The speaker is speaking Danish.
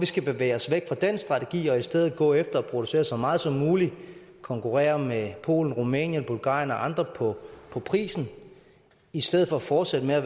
skal bevæge os væk fra den strategi og i stedet gå efter at producere så meget som muligt konkurrere med polen rumænien bulgarien og andre på på prisen i stedet for at fortsætte med at